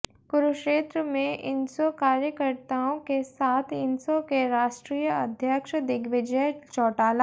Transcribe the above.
कुरुक्षेत्र में इनसो कार्यकर्ताओं के साथ इनसो के राष्ट्रीय अध्यक्ष दिग्विजय चौटाला